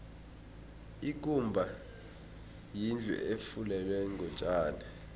ikumba yindlu efulelwe ngotjani